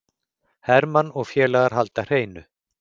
Hermann og félagar halda hreinu